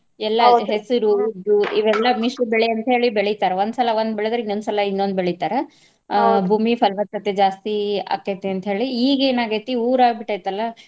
ಹೆಸುರು, ಉದ್ದು ಇವೆಲ್ಲಾ ಮಿಶ್ರ ಬೆಳೆ ಅಂತ ಹೇಳಿ ಬೆಳಿತಾರ. ಒಂದ್ ಸಲಾ ಒಂದ್ ಬೆಳದ್ರ ಇನ್ನೊಂದ್ ಸಲಾ ಇನ್ನೊಂದ್ ಬೆಳಿತಾರ. ಭೂಮಿ ಫಲವತ್ತತೆ ಜಾಸ್ತಿ ಆಕ್ಕೇತಿ ಅಂತ ಹೇಳಿ ಈಗೇನ ಆಗೈತಿ ಊರ ಆಗ್ಬಿಟ್ಟೈತಲ್ಲ.